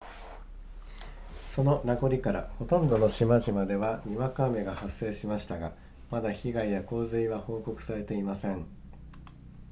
その名残からほとんどの島々ではにわか雨が発生しましたがまだ被害や洪水は報告されていません